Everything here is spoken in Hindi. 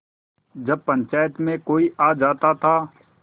जब पंचायत में कोई आ जाता था